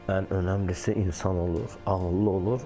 Ən önəmlisi insan olur, ağıllı olur.